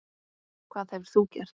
Hvað hefðir þú gert?